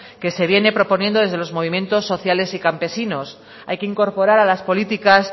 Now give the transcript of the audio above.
que se viene proponiendo de los movimientos sociales y campesinos hay que incorporar a las políticas